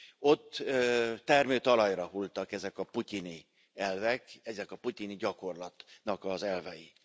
Ott termőtalajra hullottak ezek a putyini elvek, ennek a putyini gyakorlatnak az elvei.